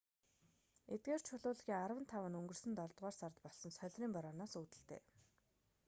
эдгээр чулуулгийн арван тав нь өнгөрсөн долдугаар сард болсон солирын борооноос үүдэлтэй